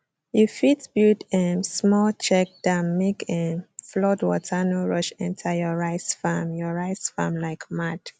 you fit build um small check dam make um flood water no rush enter your rice farm your rice farm like mad